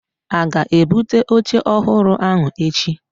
a ga-ebute oche ohuru ahu echi?